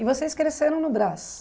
E vocês cresceram no Brás?